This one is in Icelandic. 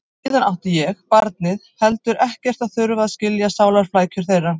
Og síðan átti ég, barnið, heldur ekkert að þurfa að skilja sálarflækjur þeirra.